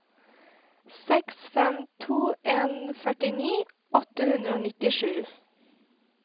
seks fem to en førtini åtte hundre og nittisju